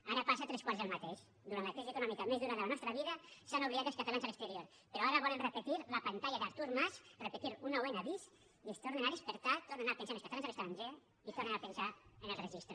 ara passa tres quarts del mateix durant la crisi econòmica més dura de la nostra vida s’han oblidat dels catalans a l’exterior però ara volen repetir la pantalla d’artur mas repetir un nou n bis i es tornen a despertar tornen a pensar en els catalans a l’estranger i tornen a pensar en el registre